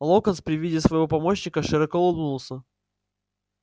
локонс при виде своего помощника широко улыбнулся